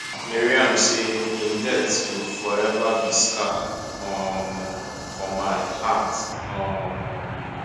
maryam say im death go forever be scar um for my heart um